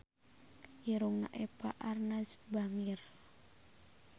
Irungna Eva Arnaz bangir